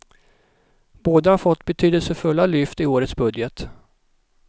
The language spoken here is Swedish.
Båda har fått betydelsefulla lyft i årets budget.